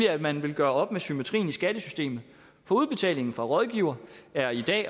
at man vil gøre op med symmetrien i skattesystemet for udbetalingen fra rådgiveren er i dag